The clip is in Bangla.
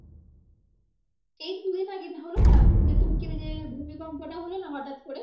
এই তো দু দিন আগে হলো না যে তুর্কিতে যে ভূমিকম্পটা হলো না হঠাৎ কর।